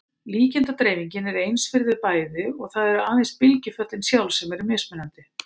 Líkindadreifingin er eins fyrir þau bæði og það eru aðeins bylgjuföllin sjálf sem eru mismunandi.